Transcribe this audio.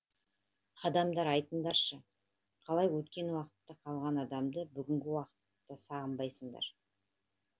адамдар айтыңдаршы қалай өткен уақытта қалған адамды бүгінгі уақытта сағынбайсыңдар